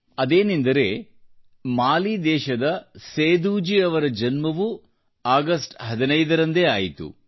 ಅದೇನೆಂದರೆ ಸೇದೂಜಿ ಅವರ ಜನ್ಮವೂ 15ನೇ ಆಗಸ್ಟ್ನಲ್ಲಿ ಆಯಿತು